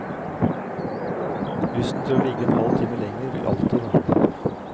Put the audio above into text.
Lysten til å ligge en halv time lenger vil alltid være der.